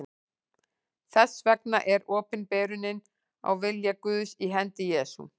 Þess vegna er opinberunin á vilja Guðs í hendi Jesú.